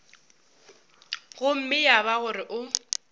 gomme ya ba gore o